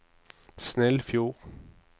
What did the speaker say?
Snillfjord